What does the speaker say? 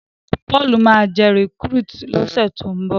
Paul má jé recruit lo ṣe to'n nbọ